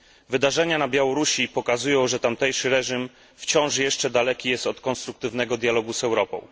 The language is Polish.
Wydarzenia na Białorusi pokazują, że tamtejszy reżim wciąż jeszcze daleki jest od konstruktywnego dialogu z Europą.